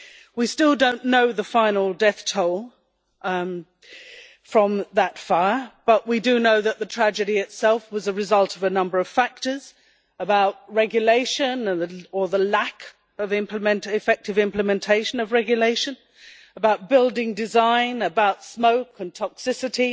We still do not know the final death toll from that fire, but we do know that the tragedy itself was a result of a number of factors about regulation, or the lack of effective implementation of regulation, about building design, and about smoke and toxicity.